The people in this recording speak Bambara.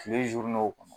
Kile o kɔnɔ